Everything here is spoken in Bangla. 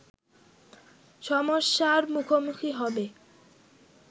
সমস্যার মুখোমুখি হবে